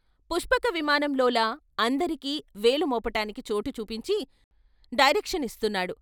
పుష్పక విమానంలోలా అందరికి వేలుమోపటానికి చోటు చూపించి డైరెక్షనిస్తున్నాడు.